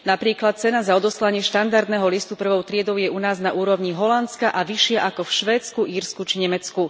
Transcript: Napríklad cena za odoslanie štandardného listu prvou triedou je u nás na úrovni Holandska a vyššia ako v Švédsku, Írsku či Nemecku.